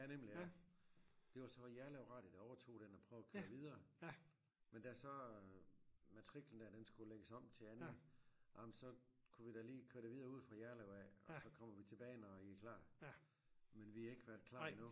Ja nemlig ja det var så Jerlev Radio der overtog den og prøvede at køre videre men da så matriklen der den skulle lægges om til anden ah men så kunne vi da lige køre det videre ude fra Jerlev af og så kommer vi tilbage når i er klar men vi ikke været klar endnu